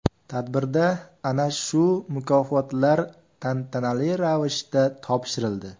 Tadbirda ana shu mukofotlar tantanali ravishda topshirildi.